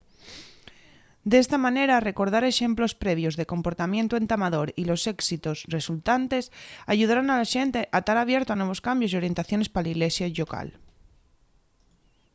d’esta manera recordar exemplos previos de comportamientu entamador y los éxitos resultantes ayudaron a la xente a tar abierto a nuevos cambios y orientaciones pa la ilesia llocal